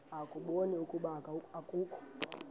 ukubona ukuba akukho